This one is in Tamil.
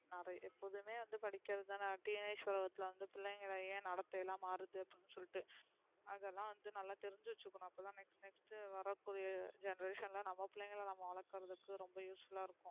எப்போதுமே வந்து படிக்கிறது தான teenage உலகத்துல வந்து பிள்ளைங்கள ஏன் நடத்தை எல்லாம் மாறுது அப்டின்னு சொலிட்டு அதெல்லாம் வந்து நல்லா தெரிஞ்சு வச்சுக்கணும் அப்ப தான்' next next வர கூடிய generation ல நம்ம பிள்ளைங்கள நம்ம வளக்குறதுக்கு ரொம்ப useful அ இருக்கும்.